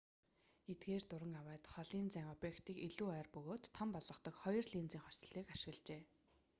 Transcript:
эдгээр дуран авайд холын зайн объектыг илүү ойр бөгөөд том болгодог хоёр линзийн хослолыг ашиглажээ